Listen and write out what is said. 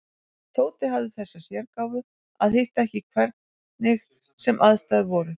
Tóti hafði þessa sérgáfu að hitta ekki hvernig sem aðstæður voru.